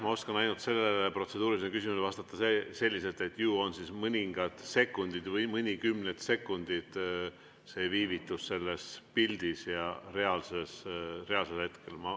Ma oskan sellele protseduurilisele küsimusele vastata ainult selliselt, et ju on mõningad sekundid või mõnikümmend sekundit viivitust selle pildi ja reaalse hetke vahel.